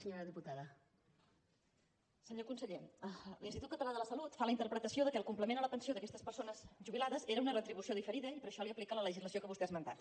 senyor conseller l’institut català de la salut fa la interpretació que el complement a la pensió d’aquestes persones jubilades era una retribució diferida i per això li aplica la legislació que vostè ha esmentat